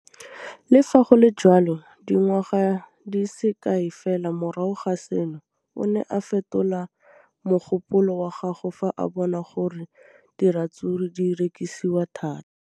Le fa go le jalo, dingwaga di se kae fela morago ga seno, o ne a fetola mogopolo wa gagwe fa a bona gore diratsuru di rekisiwa thata.